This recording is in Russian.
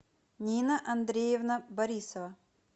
нина андреевна борисова